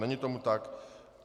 Není tomu tak.